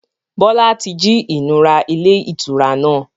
Bọlá tí jí ìnura ilé ìtura náà.